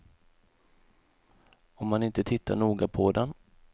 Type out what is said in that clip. Om man inte tittar noga på den.